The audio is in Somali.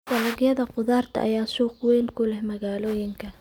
Dalagyada khudaarta ayaa suuq weyn ku leh magaalooyinka.